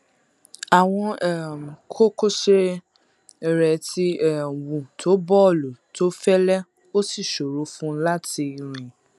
àwọn um kókósẹ rẹ ti um wú tó bọọlù tó fẹlẹ ó sì ṣòro fún un láti rìn